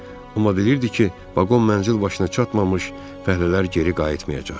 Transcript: Amma bilirdi ki, vaqon mənzil başına çatmamış fəhlələr geri qayıtmayacaq.